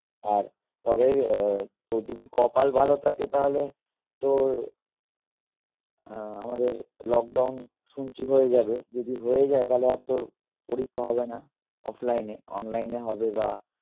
আর তবে আহ তোর যদি কপাল ভালো থাকে তাহলে তোর আহ আমাদের lockdown শুনছি হয়ে যাবে যদি হয়ে যাই তালে আর তোর পরীক্ষা হবে না offline এ online এ হবে বা